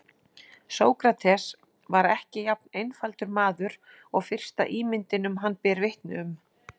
Sókrates var ekki jafn einfaldur maður og fyrsta ímyndin um hann ber vitni um.